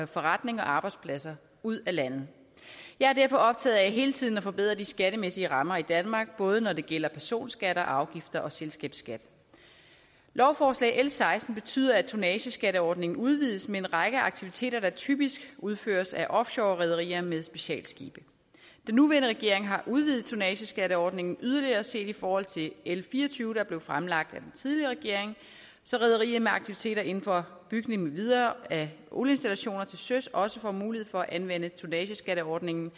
forretninger og arbejdspladser ud af landet jeg er derfor optaget af hele tiden at forbedre de skattemæssige rammer i danmark både når det gælder personskatter og afgifter og selskabsskat lovforslag l seksten betyder at tonnageskatteordningen udvides med en række aktiviteter der typisk udføres af offshorerederier med specialskibe den nuværende regering har udvidet tonnageskatteordningen yderligere set i forhold til l fire og tyve der blev fremlagt af den tidligere regering så rederier med aktiviteter inden for bygning med videre af olieinstallationer til søs også får mulighed for at anvende tonnageskatteordningen